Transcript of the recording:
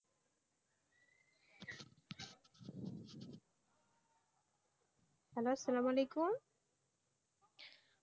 Hello সালাম অয়ালেকুম